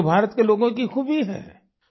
यही तो भारत के लोगों की खूबी है